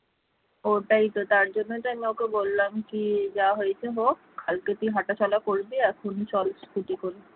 ওইটাই তো তার জন্যই তো আমি বললাম কি যা হয়েছে হোক কাল থেকে তুই হাঁটাচলা করবি এখন চল scooty করে